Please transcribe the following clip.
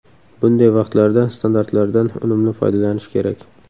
Bunday vaqtlarda standartlardan unumli foydalanish kerak.